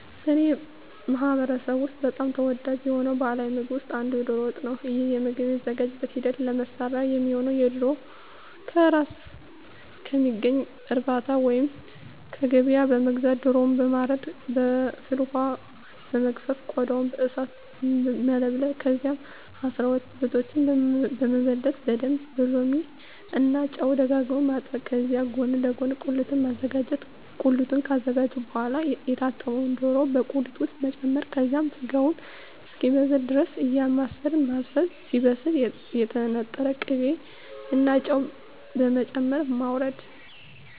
በእኔ ማህበረሰብ ውስጥ በጣም ተወዳጅ የሆነው ባሀላዊ ምግብ ውስጥ አንዱ የዶሮ ወጥ ነው። ይህ ምግብ የሚዘጋጅበት ሂደት ለመስሪያ የሚሆነውነ ዶሮ ከእራስ ከሚገኝ እርባታ ወይንም ከገበያ በመግዛት ዶሮውን በማረድ በፍል ወሀ በመግፈፍ ቆዳውን በእሳት መለብለብ ከዛም አስራሁለቱን ብልቶች በመበለት በደንብ በሎሚ እና ጨው ደጋግሞ ማጠብ ከዚህ ጎን ለጎን ቁሊቱን ማዘጋጀት ቁሊቱን ካዘጋጀን በሆዋላ የታጠበውን ዶሮ በቁሊት ውስጥ መጨመር ከዛም ስጋው እስኪበስል ድረስ እያማሰልን ማብሰል ሲበስል የተነጠረ ቅቤ እና ጨው በመጨመር ማወረድ።